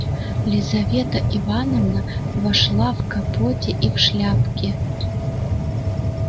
лизавета ивановна вошла в капоте и в шляпке